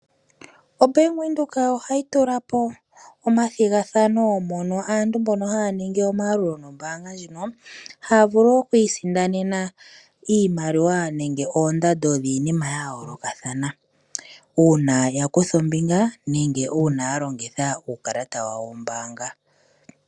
OBank Windhoek ohayi tula po omathigathano mono aantu mbono haya ningi omayalulo gombaanga ndjino, haya vulu okwiisindanena iimaliwa nenge oondando dhiinima yayoolokathana, uuna yakutha ombinga nenge uuna yalongitha uukalata wawo wombaanga.